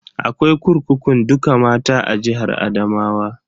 Akwai kurkukun dukka mata a jihar Adamawa.